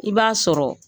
I b'a sɔrɔ